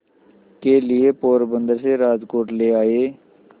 के लिए पोरबंदर से राजकोट ले आए